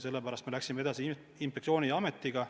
Sellepärast me läksime edasi inspektsiooni ja ametiga.